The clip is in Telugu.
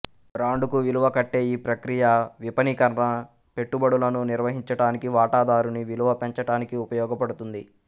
బ్రాండ్ కు విలువ కట్టే ఈ ప్రక్రియ విపణీకరణ పెట్టుబడులను నిర్వహించటానికి వాటాదారుని విలువ పెంచటానికి ఉపయోగపడుతుంది